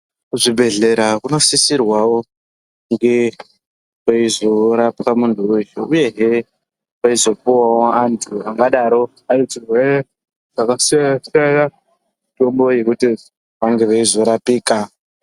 Kuzvibhedhlera kunosisirwawo kunge kweizorapwa muntu weshe uyehe kweizopuwawo antu angadaro ane zvirwere zvakasiyana siyana mitombo yekuti vange veizorapika.